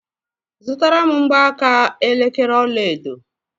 Zụtara m mgbaaka elekere ọlaedo!